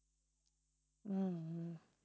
உம் உம்